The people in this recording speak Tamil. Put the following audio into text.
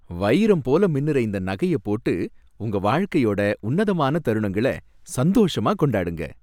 வைரம் போல மின்னுற இந்த நகைய போட்டு உங்க வாழ்க்கையோட உன்னதமான தருணங்கள சந்தோஷமா கொண்டாடுங்க